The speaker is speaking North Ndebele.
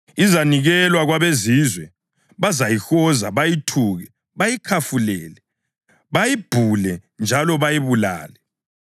Izanikelwa kwabeZizwe. Bazayihoza, bayithuke, bayikhafulele, bayibhule njalo bayibulale.